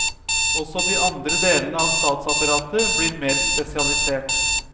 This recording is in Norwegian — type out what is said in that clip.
Også de andre delene av statsapparatet blir mer spesialisert.